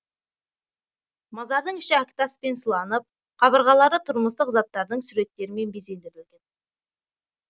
мазардың іші әктаспен сыланып қабырғалары тұрмыстық заттардың суреттерімен безендірілген